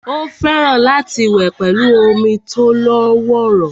Ó fẹ́ràn láti wẹ̀ pẹ̀lú omi tó lọ́wọ́rọ́